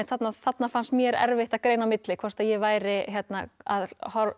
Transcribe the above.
þarna þarna fannst mér erfitt að greina á milli hvort að ég væri að